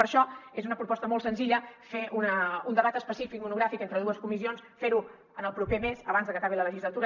per això és una proposta molt senzilla fer un debat específic monogràfic entre dues comissions fer ho en el proper mes abans de que acabi la legislatura